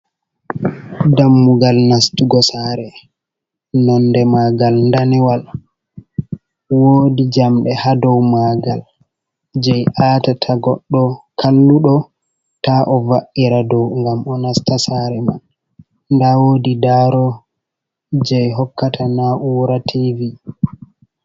Dammugal nastugo saare nonde maagal danewal .Woodi jamɗe haa dow maagal, jey aatata goɗɗo kalluɗo ta o va’ira dow, ngam o nasta saare man. Ndaa woodi daaro jey hokkata na'uura tiivi.